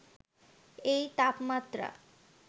এই তাপমাত্রা